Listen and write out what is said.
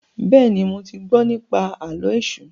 béèni mọ tí gbó nipa Àló̩ Èṣù.